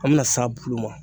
An bɛna s'a bulu ma.